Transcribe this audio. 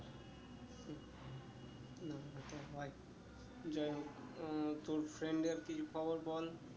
যাই হোক আহ তোর friend এর কি খবর বল